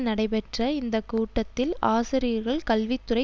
நடைபெற்ற இந்த கூட்டத்தில் ஆசிரியர்கள் கல்வி துறை